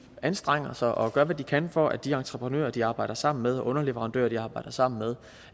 anstrenger sig og gør hvad de kan for at de entreprenører de arbejder sammen med og underleverandører de arbejder sammen med